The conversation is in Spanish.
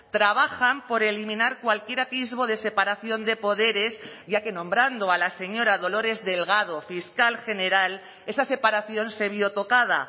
trabajan por eliminar cualquier atisbo de separación de poderes ya que nombrando a la señora dolores delgado fiscal general esa separación se vio tocada